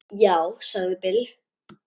Já, sagði Bill.